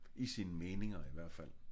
I sine meninger i hvert fald